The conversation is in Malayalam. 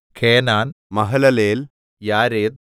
കേനാൻ മഹലലേൽ യാരെദ്